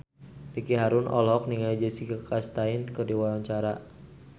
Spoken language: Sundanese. Ricky Harun olohok ningali Jessica Chastain keur diwawancara